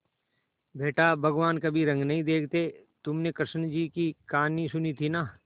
बेटा भगवान कभी रंग नहीं देखते हैं तुमने कृष्ण जी की कहानी सुनी थी ना